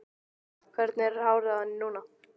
Hvernig er hárið á henni núna? spurði Lalli.